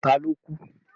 Ta ló kú?